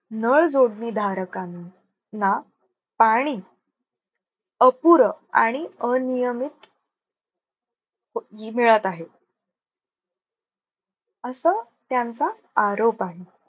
नळ जोडणी धारकांना ना पाणी अपुरं आणि अनियमित प मिळत आहे. असं त्यांचा आरोप आहे.